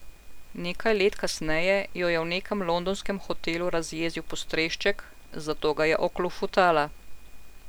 Nekaj let kasneje jo je v nekem londonskem hotelu razjezil postrešček, zato ga je oklofutala.